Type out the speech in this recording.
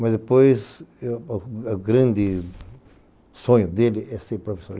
Mas depois, o grande sonho dele é ser professor.